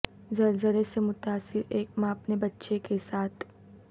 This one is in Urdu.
زلزلے سے متاثر ایک ماں اپنے بچے کے ساتھ